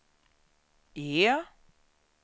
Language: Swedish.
E